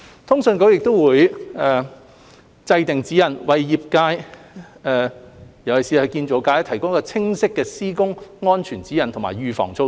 通訊局亦會制訂指引，為業界，尤其是建造業，提供清晰的施工安全指引和預防措施。